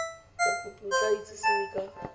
mokopi o tla itsisiwe ka